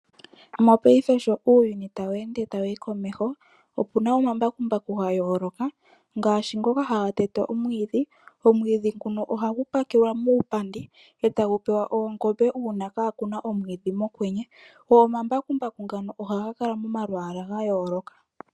Mopaife sho uuyuni tawu ende tawu yi komeho opuna omabakumbaku gayooloka ngaashi ngoka haga tete omwidhi. Omwidhi nguka ohagu pakelwa muupandi etagu pewa oongombe una kaakuna omwidhi mokwenye, go omamabakumbaku ngaka ohaga kala momalwaala gayooloka.